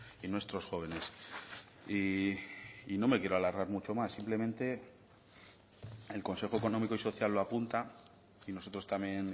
y nuestros jóvenes y no me quiero alargar mucho más simplemente el consejo económico y social lo apunta y nosotros también